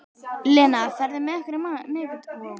Lena, ferð þú með okkur á miðvikudaginn?